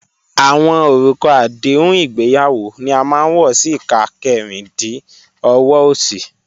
Awọn orúkà àdéhùn ìgbéyàwó ni a máa n wọ sí ìkà kẹ́rìndí ọ̀wọ̀ osì.